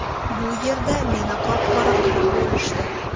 Bu yerda meni qop-qora qilib bo‘lishdi.